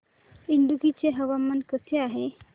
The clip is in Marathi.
इडुक्की चे हवामान कसे आहे